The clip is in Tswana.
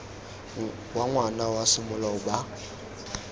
wa ngwana wa semolao ba